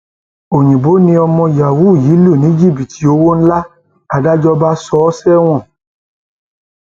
oyinbo ni ọmọ yahoo yìí lù ní jìbìtì owó ńlá làdájọ bá sọ ọ sẹwọn